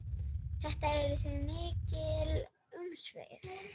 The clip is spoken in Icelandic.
Þetta eru því mikil umsvif.